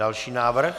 Další návrh.